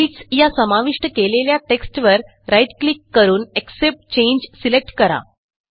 needsया समाविष्ट केलेल्या टेक्स्टवर राईट क्लिक करून एक्सेप्ट चांगे सिलेक्ट करा